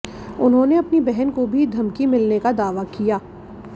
उन्होंने अपनी बहन को भी धमकी मिलने का दावा किया